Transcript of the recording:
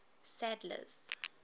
sadler's